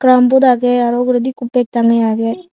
carrom board agey aro uguredi ekku bag tangeye agey.